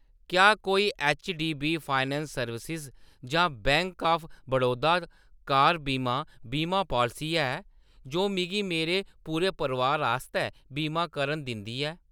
क्या कोई HDB finance services जां बैंक ऑफ बड़ौदा कार बीमा बीमा पालसी है जो मिगी मेरे पूरे परोआर आस्तै बीमा करन दिंदी ऐ ?